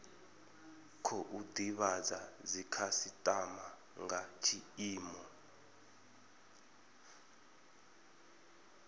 khou divhadza dzikhasitama nga tshiimo